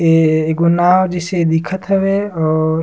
ऐ एगो नांव जइसे दिखत हवे और--